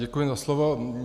Děkuji za slovo.